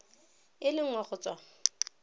e le nngwe go tswa